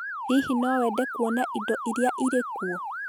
Hihi no wende kuona indo iria irĩ kuo?